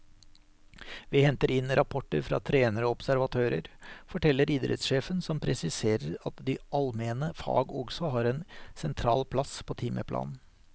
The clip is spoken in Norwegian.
Vi henter inn rapporter fra trenere og observatører, forteller idrettssjefen som presiserer at de almene fag også har en sentral plass på timeplanen.